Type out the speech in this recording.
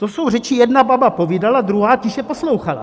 To jsou řeči "jedna baba povídala, druhá tiše poslouchala".